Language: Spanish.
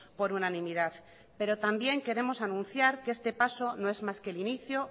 por unanimidad pero también queremos anunciar que este paso no es más que el inicio